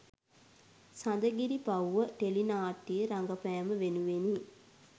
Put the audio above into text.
සඳගිරිපව්ව ටෙලිනාට්‍යයේ රඟපෑම වෙනුවෙනි.